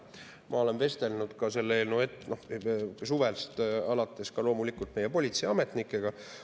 Ma olen vestelnud selle eelnõu teemal suvest alates loomulikult ka meie politseiametnikega.